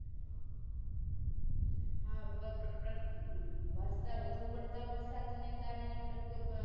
હા પ્રકવધતા વધુ પડતા વરસાદ ને કારણે